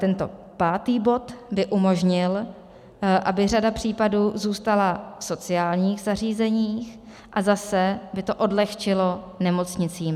Tento pátý bod by umožnil, aby řada případů zůstala v sociálních zařízeních, a zase by to odlehčilo nemocnicím.